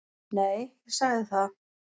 Nei, ég sagði það.